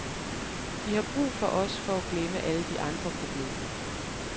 De har brug for os for at glemme alle de andre problemer.